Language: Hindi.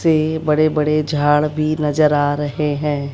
बड़े बड़े झाड़ भी नजर आ रहे हैं।